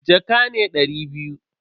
Jaka ne dari biyu.